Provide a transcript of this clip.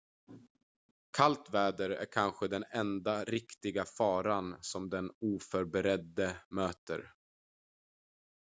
kallt väder är kanske den enda riktiga faran som den oförberedde möter